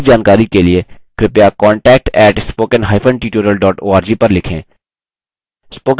अधिक जानकारी के लिए contact @spokentutorial org पर लिखें